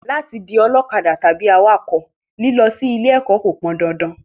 Láti di ọlọ́kadà tàbí awakọ̀, lílọ sí ilé ẹ̀kọ́ kò pọn dandan